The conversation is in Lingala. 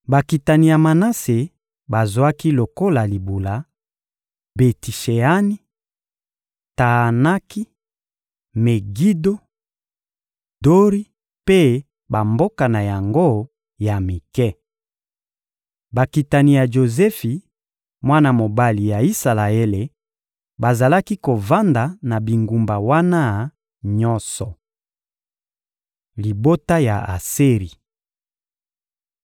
Bakitani ya Manase bazwaki lokola libula: Beti-Sheani, Taanaki, Megido, Dori mpe bamboka na yango ya mike. Bakitani ya Jozefi, mwana mobali ya Isalaele, bazalaki kovanda na bingumba wana nyonso. Libota ya Aseri (Ebl 46.17; Mit 26.44-45)